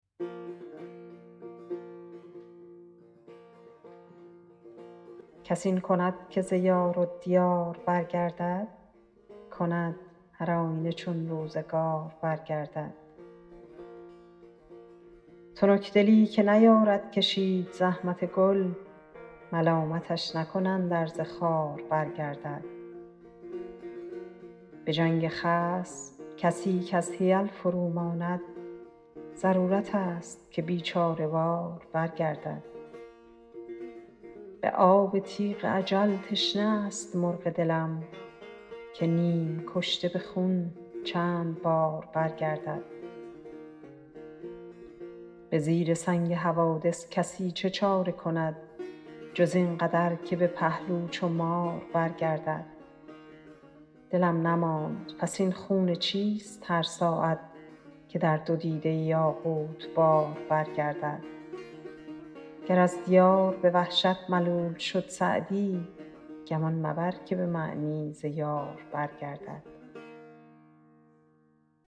کس این کند که ز یار و دیار برگردد کند هرآینه چون روزگار برگردد تنکدلی که نیارد کشید زحمت گل ملامتش نکنند ار ز خار برگردد به جنگ خصم کسی کز حیل فروماند ضرورتست که بیچاره وار برگردد به آب تیغ اجل تشنه است مرغ دلم که نیم کشته به خون چند بار برگردد به زیر سنگ حوادث کسی چه چاره کند جز این قدر که به پهلو چو مار برگردد دلم نماند پس این خون چیست هر ساعت که در دو دیده یاقوت بار برگردد گر از دیار به وحشت ملول شد سعدی گمان مبر که به معنی ز یار برگردد